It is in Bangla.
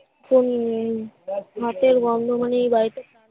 ফণী নেই গন্ধ মানে এই বাড়িটা